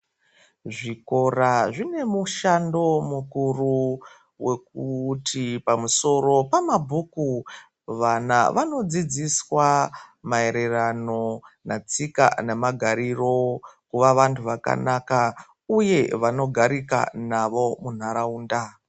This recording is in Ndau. Zvikora zvine mushando mukuru wekuti pamusoro pamabhuku vana vanodzidziswa mayererano netsika nemgariro kuva vanhu vakanaka uye vanogarika navo muntaraunda.